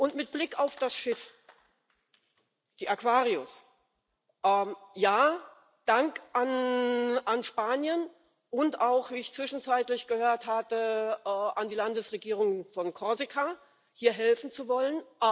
Und mit Blick auf das Schiff, die Aquarius Ja, Dank an Spanien und auch wie ich zwischenzeitlich gehört hatte an die Landesregierung von Korsika, hier helfen zu wollen.